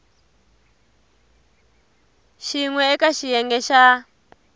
xin we eka xiyenge xa